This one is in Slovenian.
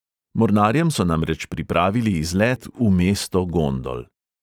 Mornarjem so namreč pripravili izlet v mesto gondol.